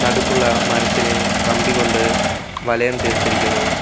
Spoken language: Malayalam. നടുക്കുള്ള മരത്തിനെ കമ്പി കൊണ്ട് വലയം തീർത്തിരിക്കുന്നു.